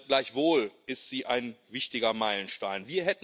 Gleichwohl ist sie ein wichtiger Meilenstein.